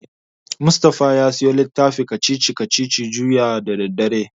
Mustapha ya siyo littafin kacici-kacicici juya da daddare.